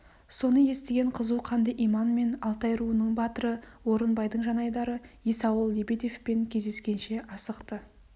соны естіген қызу қанды иман мен алтай руының батыры орынбайдың жанайдары есауыл лебедевпен кездескенше асықты